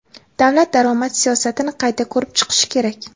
"Davlat daromad siyosatini qayta ko‘rib chiqishi kerak".